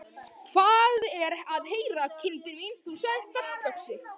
Hvað er að heyra, kindin mín, þú sagðir fallöxi.